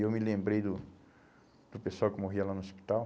E eu me lembrei do do pessoal que morria lá no hospital.